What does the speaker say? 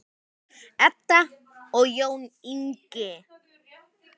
Edda og Jón Ingi.